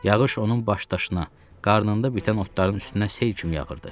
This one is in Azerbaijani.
Yağış onun başdaşına, qarnında bitən otların üstünə sel kimi yağırdı.